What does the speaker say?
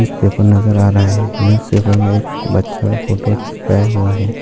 News paper नजर आ रहा है न्यूज पेपर मे एक बच्चा का फोटो चिपकया हुआ है।